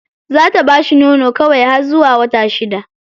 Za ta bashi nono kawai har zuwa wata shida.